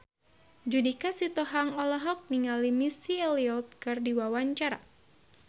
Judika Sitohang olohok ningali Missy Elliott keur diwawancara